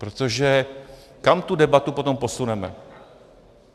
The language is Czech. Protože kam tu debatu potom posuneme?